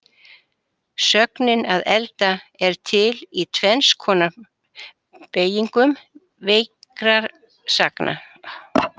Sögnin að elda er til í tvenns konar beygingu veikra sagna.